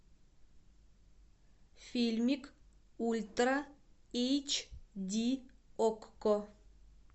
фильмик ультра эйч ди окко